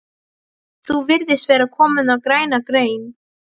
Þú virðist vera kominn á græna grein